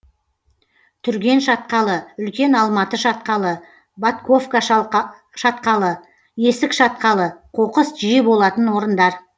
түрген шатқалы үлкен алматы шатқалы ботковка шатқалы есік шатқалы қоқыс жиі болатын орындар